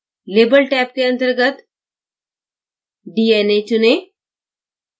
label tab के अंतर्गत dna चुनें